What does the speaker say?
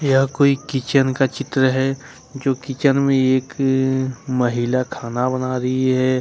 यह कोई किचन का चित्र है जो किचन में एक महिला खाना बना रही है।